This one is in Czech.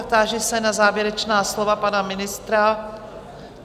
A táži se na závěrečná slova pana ministra?